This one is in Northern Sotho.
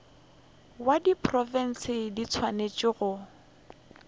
ya diprofense di swanetše go